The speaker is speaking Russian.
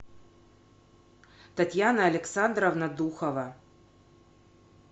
татьяна александровна духова